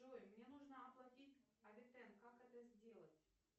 джой мне нужно оплатить авитен как это сделать